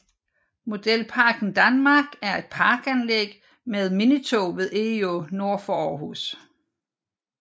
Modelparken Danmark er et parkanlæg med minitog ved Egå nord for Aarhus